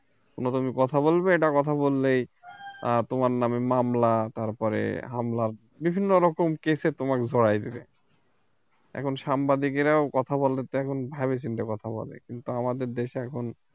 কোনো তুমি কথা বলবে একটা কথা বললেই তোমার নামে মামলা তারপরে হামলা বিভিন্ন রকম case এ তোমাকে জড়াই দেবে এখন সাংবাদিকেরাও কথা বলে এখন ভাইবেচিন্তে কথা বলে কিন্তু আমাদের দেশে এখন